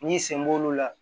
N'i sen b'olu la